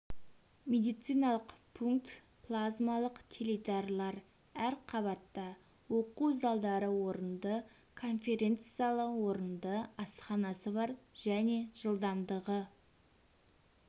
медициналық пункт плазмалық теледидарлар әр қабатта оқу залдары орынды конференц-залы орынды асханасы бар және жылдамдығы